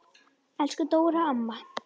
Elsku Dóra amma.